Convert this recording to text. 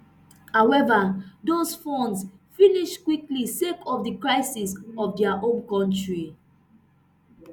however those funds finish quickly sake of di crisis for dia home kontri